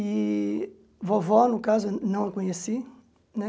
E vovó, no caso, eu não a conheci, né?